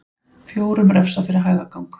Fjórum refsað fyrir hægagang